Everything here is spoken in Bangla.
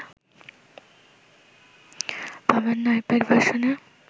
পাবেন না আইপ্যাড ভার্সনে